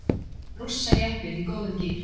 Rússajeppinn í góðum gír